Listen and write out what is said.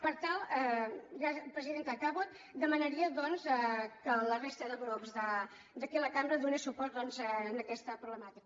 per tant presidenta acabo demanaria doncs que la resta de grups d’aquí la cambra donés suport a aquesta problemàtica